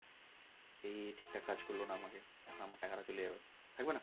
এ ঠিকঠাক কাজ করল না মানে আমারও টাকা টা চলে যাবে থাকবে না?